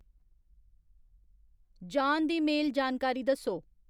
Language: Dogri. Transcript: जान दी मेल जानकारी दस्सो